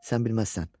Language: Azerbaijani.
Sən bilməzsən.